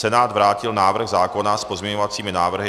Senát vrátil návrh zákona s pozměňovacími návrhy.